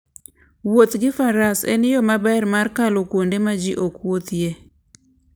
Wuoth gi Faras en yo maber mar kalo kuonde ma ji ok wuothie.